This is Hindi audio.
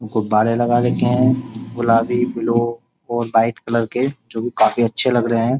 गुब्बारे लगा रखे हैं गुलाबी बिलो और वाइट कलर के जो कि काफी अच्छे लग रहे हैं।